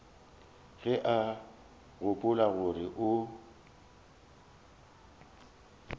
ge o gopola gore o